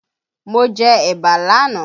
Mo jẹ ẹ̀bà l'ánàá